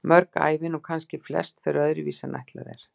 Mörg ævin, og kannski flest, fer öðru vísi en ætlað er.